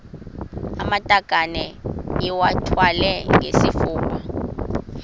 amatakane iwathwale ngesifuba